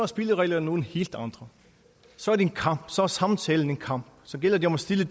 spillereglerne nogle helt andre så er det en kamp så er samtalen en kamp så gælder det om at stille